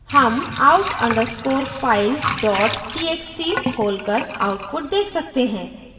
हम out _ underscore file dot txt खोलकर output देख सकते हैं